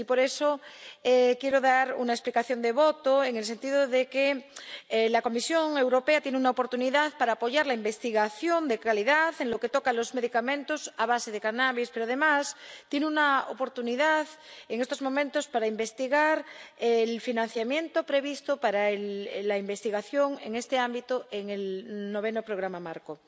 Y, por eso, quiero dar una explicación de voto en el sentido de que la Comisión Europea tiene una oportunidad para apoyar la investigación de calidad en lo relativo a los medicamentos a base de cannabis, pero, además, tiene una oportunidad en estos momentos para examinar el financiamiento previsto para la investigación en este ámbito en el Noveno Programa Marco.